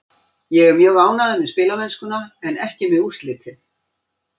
Ég er mjög ánægður með spilamennskuna en ekki með úrslitin.